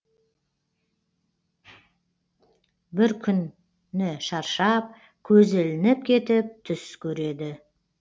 бір күні шаршап көзі ілініп кетіп түс көреді